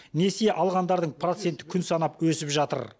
несие алғандардың проценті күн санап өсіп жатыр